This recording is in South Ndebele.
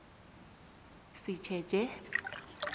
sitjetjhe